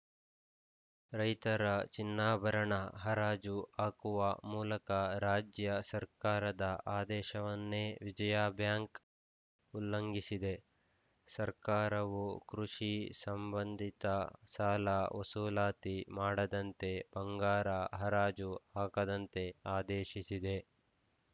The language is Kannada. ರೈತರ ಚಿನ್ನಾಭರಣ ಹರಾಜು ಹಾಕುವ ಮೂಲಕ ರಾಜ್ಯ ಸರ್ಕಾರದ ಆದೇಶವನ್ನೇ ವಿಜಯಾ ಬ್ಯಾಂಕ್‌ ಉಲ್ಲಂಘಿಸಿದೆ ಸರ್ಕಾರವು ಕೃಷಿ ಸಂಬಂಧಿತ ಸಾಲ ವಸೂಲಾತಿ ಮಾಡದಂತೆ ಬಂಗಾರ ಹರಾಜು ಹಾಕದಂತೆ ಆದೇಶಿಸಿದೆ